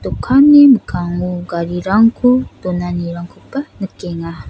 dokanni mikkango garirangko donanirangkoba nikenga.